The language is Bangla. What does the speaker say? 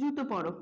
জুতো পরো,